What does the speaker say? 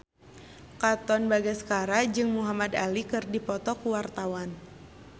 Katon Bagaskara jeung Muhamad Ali keur dipoto ku wartawan